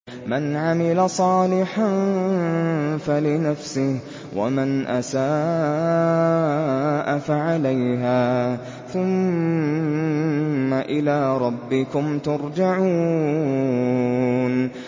مَنْ عَمِلَ صَالِحًا فَلِنَفْسِهِ ۖ وَمَنْ أَسَاءَ فَعَلَيْهَا ۖ ثُمَّ إِلَىٰ رَبِّكُمْ تُرْجَعُونَ